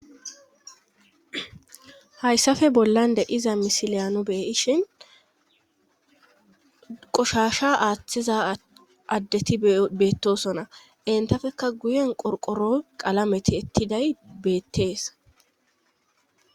Hayssafe bollan de iza misileyano beeyishin qoshasha aaththiza addeti beettosona entafekka guyen qorqoro qalameti ettiday beettees